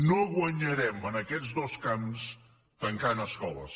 no guanyarem en aquests dos camps si tanquem escoles